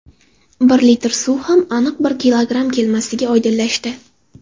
Bir litr suv ham aniq bir kilogramm kelmasligi oydinlashdi.